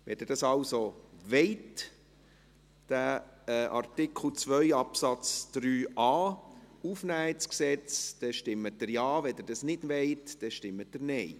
Wenn Sie dies wollen, diesen Artikel 2 Absatz 3a also ins Gesetz aufnehmen wollen, stimmen Sie Ja, wenn Sie dies nicht wollen, stimmen Sie Nein.